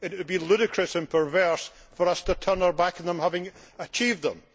It would be ludicrous and perverse for us to turn our back on them, having achieved them.